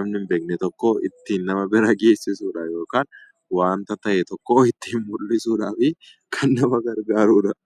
namni hin beekne tokko ittiin nama bira geessisuudha yookaan wanta ta'e tokko ittiin mul'isuudhaaf kan nama gargaarudha.